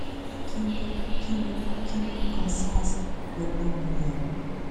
kí ló kí ló kan sars pẹlú ọmọ yahoo